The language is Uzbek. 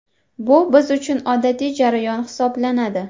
Bu biz uchun odatiy jarayon hisoblanadi.